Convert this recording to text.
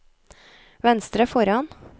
venstre foran